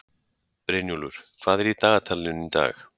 Brynjúlfur, hvað er í dagatalinu í dag?